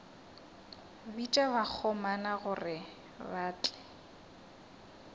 bitša bakgomana gore ba tle